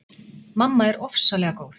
Mamma er ofsalega góð.